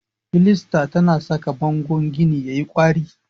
Filasta tana saka bangon gini yayi kwari.